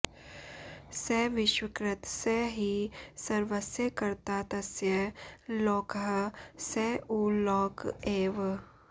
स विश्वकृत् स हि सर्वस्य कर्ता तस्य लोकः स उ लोक एव